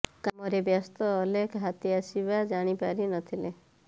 କାମରେ ବ୍ୟସ୍ତ ଅଲେଖ ହାତୀ ଆସିବା ଜାଣି ପାରି ନ ଥିଲେ